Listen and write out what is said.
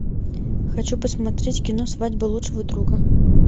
хочу посмотреть кино свадьба лучшего друга